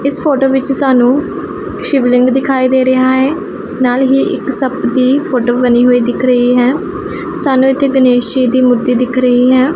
ਇਸ ਫ਼ੋਟੋ ਵਿੱਚ ਸਾਨੂੰ ਸ਼ਿਵਲਿੰਗ ਦਿਖਾਈ ਦੇ ਰਿਹਾ ਹੈ ਨਾਲ ਹੀ ਇੱਕ ਸੰਪ ਦੀ ਫੋਟੋ ਬਨੀ ਹੋਈ ਦਿੱਖ ਰਹੀ ਹੈ ਸਾਨੂੰ ਇੱਥੇ ਗਣੇਸ਼ ਜੀ ਦੀ ਮੂਰਤੀ ਦਿੱਖ ਰਹੀ ਹੈ।